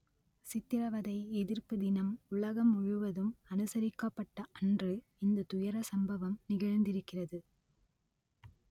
சித்திரவதை எதிர்ப்பு தினம் உலகம் முழுவதும் அனுசரிக்கப்பட்ட அன்று இந்த துயர சம்பவம் நிகழ்ந்திருக்கிறது